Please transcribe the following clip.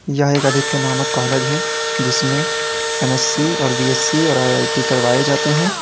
यह एक आदित्य नामक कॉलेज है जिसमें एम_एस_सी और बी_एस_सी और आई_आई_टी करवाए जाते हैं।